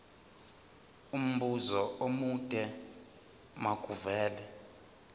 umbuzo omude makuvele